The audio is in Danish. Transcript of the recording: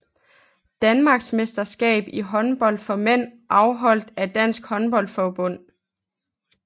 Danmarksmesterskab i håndbold for mænd afholdt af Dansk Håndbold Forbund